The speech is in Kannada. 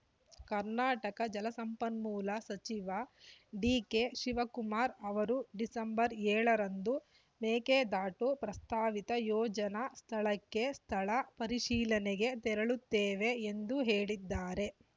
ಕರ್ನಾಟಕ ಜಲಸಂಪನ್ಮೂಲ ಸಚಿವ ಡಿಕೆ ಶಿವಕುಮಾರ್‌ ಅವರು ಡಿಸೆಂಬರ್ ಏಳರಂದು ಮೇಕೆದಾಟು ಪ್ರಸ್ತಾವಿತ ಯೋಜನಾ ಸ್ಥಳಕ್ಕೆ ಸ್ಥಳ ಪರಿಶೀಲನೆಗೆ ತೆರಳುತ್ತೇವೆ ಎಂದು ಹೇಳಿದ್ದಾರೆ